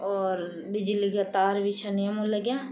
और बिजली का तार भी छन येमा लग्यां ।